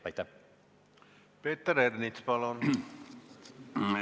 Peeter Ernits, palun!